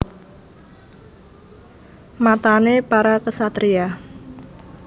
Matané para ksatriya